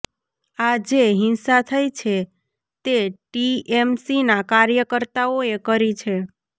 આ જે હિંસા થઇ છે તે ટીએમસીના કાર્યકર્તાઓએ કરી છે